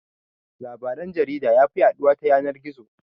Labaran jarida yafi yaɗuwa ta yanan-gizo.